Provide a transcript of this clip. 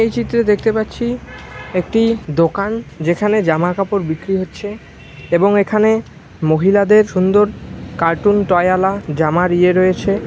এই চিত্র দেখতে পাচ্ছি একটি দোকান যেখানে জামা কাপড় বিক্রি হচ্ছে এবং এখানে মহিলাদের সুন্দর কার্টুন টয় ওয়ালা জামার ইয়ে রয়েছে।